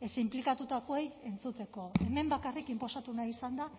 ez inplikatutakoei entzuteko hemen bakarrik inposatu nahi izan da